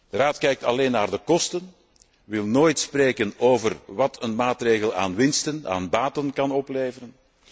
De Raad kijkt alleen naar de kosten, wil nooit spreken over wat een maatregel aan baten kan opleveren.